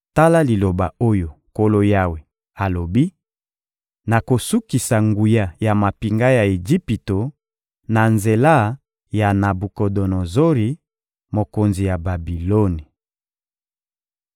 Tala liloba oyo Nkolo Yawe alobi: Nakosukisa nguya ya mampinga ya Ejipito na nzela ya Nabukodonozori, mokonzi ya Babiloni.